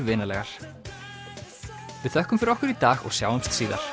vinalegar við þökkum fyrir okkur í dag sjáumst síðar